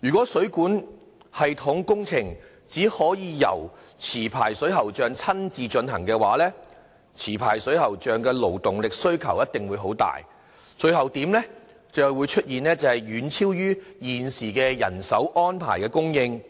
如果水管系統工程只可由持牌水喉匠親自進行的話，持牌水喉匠的勞動力需求一定會很多，最後會出現遠超於現時人手安排的供應，